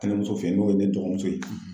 Tɛnɛmuso fɛ yen n'o ye ne dɔgɔmuso ye.